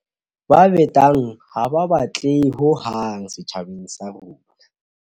Ba betang ha ba batlehe hohang setjhabeng sa rona.